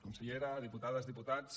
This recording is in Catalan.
consellera diputades diputats